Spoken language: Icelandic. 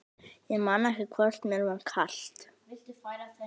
Ég man ekki hvort mér var kalt.